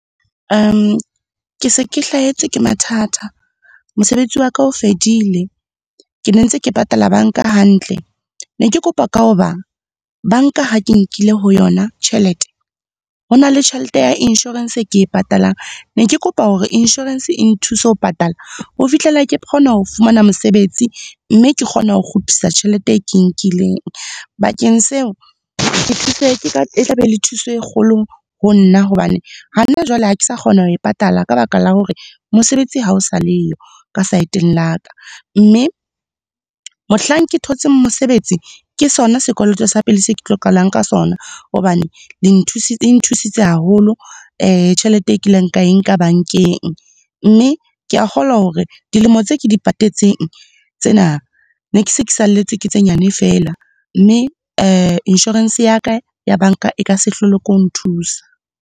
Ke se ke hlahetswe ke mathata. Mosebetsi waka o fedile, ke ne ntse ke patala banka hantle. Ne ke kopa ka ho ba, banka ha ke nkile ho yona tjhelete, ho na le tjhelete ya inshorense e ke e patalang. Ne ke kopa hore inshorense e nthuse ho patala ho fihlella ke kgona ho fumana mosebetsi, mme ke kgona ho kgutlisa tjhelete e ke nkileng. Bakeng seo, ke thuse, e tla be le thuso e kgolo ho nna hobane hana jwale ha ke sa kgona ho e patala ka baka la hore mosebetsi ha o sa leyo, ka saeteng la ka. Mme mohlang ke thotse mosebetsi, ke sona sekoloto sa pele se ke tlo qalang ka sona hobane le e nthusitse haholo tjhelete e kile ka e nka bankeng. Mme, ke a kgolwa hore dilemo tse ke di patetseng tsena, ne ke se ke saletswe ke tse nyane fela, mme inshorense ya ka ya banka e ka se hlole ke ho nthusa.